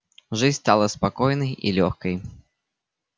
жизнь стала спокойной и лёгкой